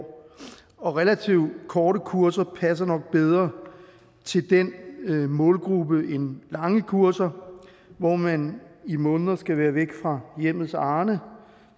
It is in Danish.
og relativt korte kurser passer nok bedre til den målgruppe end lange kurser hvor man i måneder skal være væk fra hjemmets arne